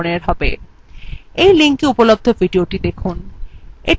এই linkএ উপলব্ধ videothe দেখুন